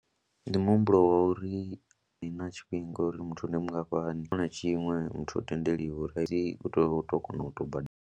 Ndi muhumbulo wa uri ni na tshifhinga uri muthu ndi mungafhani, tshifhinga tshiṅwe na tshiṅwe muthu o tendeliwa uri i tea u tou kona u tou badela.